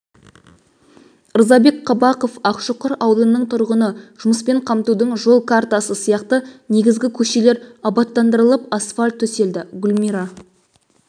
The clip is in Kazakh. ырзабек қабақов ақшұқыр аулының тұрғыны жұмыспен қамтудың жол картасы аясында негізгі көшелер абаттандырылып асфальт төселді гүлмира